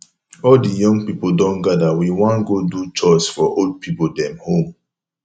all di young pipo don gada we wan godo chores for old pipo dem home